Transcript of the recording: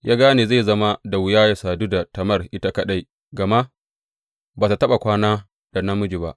Ya gane zai zama da wuya yă sadu da Tamar ita kaɗai, gama ba ta taɓa kwana da namiji ba.